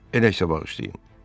Elə isə bağışlayın.